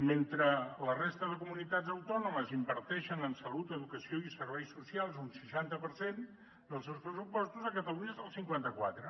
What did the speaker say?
mentre la resta de comunitats autònomes inverteixen en salut educació i serveis socials un seixanta per cent dels seus pressupostos a catalunya és el cinquanta quatre